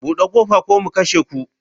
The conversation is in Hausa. Bude kofa ko mu kashe ku.